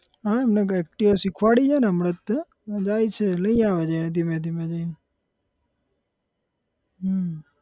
હા એમને activa શીખવાડી છેને હમણાં જ તે જાય છે લઇ આવે છે ધીમે ધીમે જઈ ન હમ